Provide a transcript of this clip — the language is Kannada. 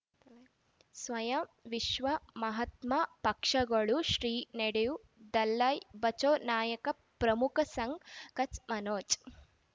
ಸ್ವಯಂ ವಿಶ್ವ ಮಹಾತ್ಮ ಪಕ್ಷಗಳು ಶ್ರೀ ನಡೆಯು ದಲೈ ಬಚೌ ನಾಯಕ ಪ್ರಮುಖ ಸಂಘ ಕಚ್ ಮನೋಜ್